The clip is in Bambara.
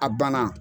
A banna